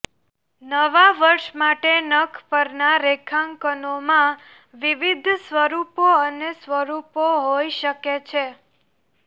નવા વર્ષ માટે નખ પરના રેખાંકનોમાં વિવિધ સ્વરૂપો અને સ્વરૂપો હોઇ શકે છે